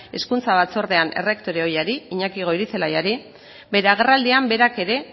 hezkuntza batzordean errektore ohiari iñaki goirizelaiari bere agerraldian berak ere